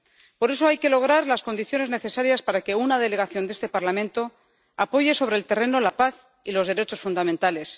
Por eso hay que lograr las condiciones necesarias para que una delegación de este Parlamento apoye sobre el terreno la paz y los derechos fundamentales